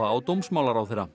á dómsmálaráðherra